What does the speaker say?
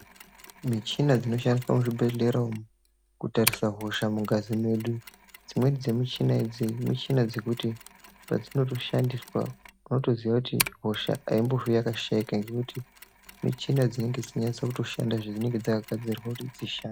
Michina dzinoshandiswa muzvibhehlera umu kurarisa hosha mungazi mwedu dzimwe dzemuchina idzi michina dzekuti padzinotoshandiswa unotoziya kuti hosha yakashaikwa ngekuti michina dzinenge dzichitonyasa kutoshanda zvinenge dzakagadzirirwa kuti dzishande.